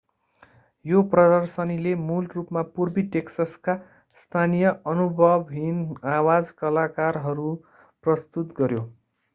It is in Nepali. यो प्रदर्शनीले मूल रूपमा पूर्वी टेक्ससका स्थानीय अनुभवहीन आवाज कलाकारहरू प्रस्तुत गर्‍यो।